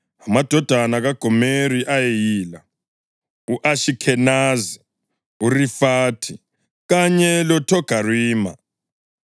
Amadodana kaGomeri ayeyila: u-Ashikhenazi, uRifathi kanye loThogarima.